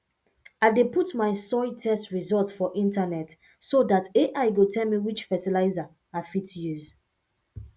i dey put my soil test results for internet so dat ai go tell me which fertilizer i fit use